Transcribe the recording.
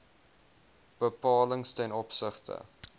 bepalings ten opsigte